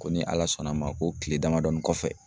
Ko ni ALA sɔnn'a ma ko kile damadɔnin kɔfɛ.